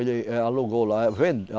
Ele, eh, alugou lá. Vem, a